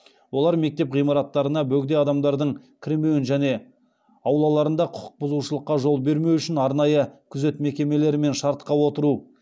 олар мектеп ғимараттарына бөгде адамдардың кірмеуін және аулаларында құқық бұзушылыққа жол бермеу үшін арнайы күзет мекемелерімен шартқа отыру